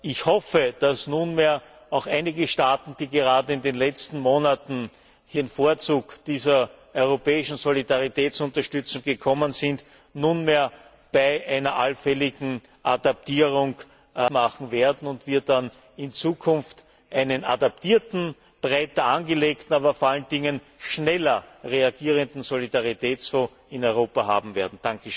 Ich hoffe, dass nunmehr auch einige Staaten, die gerade in den letzten Monaten in den Vorzug dieser europäischen Solidaritätsunterstützung gekommen sind, nunmehr bei einer allfälligen Adaptierung mitmachen werden und wir dann in Zukunft einen adaptierten, breiter angelegten, aber vor allen Dingen schneller reagierenden Solidaritätsfonds in Europa haben werden.